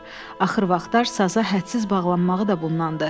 Axır vaxtlar saza hədsiz bağlanmağı da bundandır.